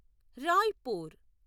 Raipur